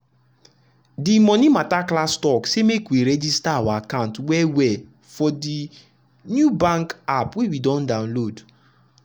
de monie mata class talk say make we register our account well well for de new bank app wey we don download.